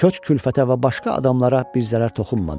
Köç, külfətə və başqa adamlara bir zərər toxunmadı.